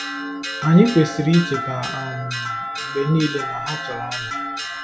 Anyị kwesịrị icheta um mgbe niile na ha chọrọ anyị.